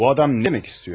Bu adam nə demək istəyir?